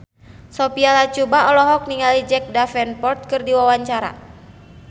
Sophia Latjuba olohok ningali Jack Davenport keur diwawancara